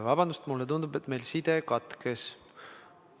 Vabandust, mulle tundub, et meil side katkes.